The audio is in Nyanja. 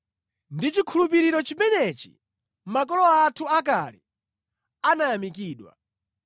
Ndi chikhulupiriro chimenechi makolo athu akale anayamikidwa.